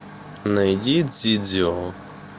найди дзидзио